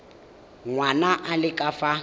ngwana a le ka fa